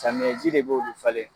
Samiyɛn ji de bɛ olu falen.